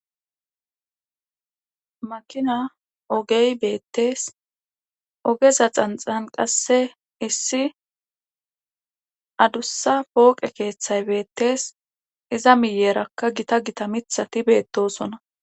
makina ogey beettees ogeza xanxan qasse issi adussa pooqe keeththay beettees iza miyeerakka gita gita mithati beettosona